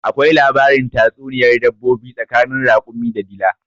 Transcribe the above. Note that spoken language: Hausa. Akwai labarin tatsuniyar dabbobi tsakanin rakumi da dila